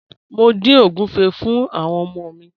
Mo ń din ogunfé̀ fún àwọn ọmọ mi.